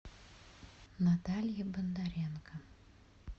наталье бондаренко